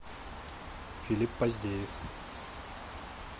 филипп поздеев